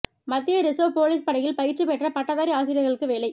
மத்திய reserve police படையில் பயிற்சி பெற்ற பட்டதாரி ஆசிரியர்களுக்கு வேலை